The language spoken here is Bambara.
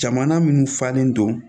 Jamana minnu falen don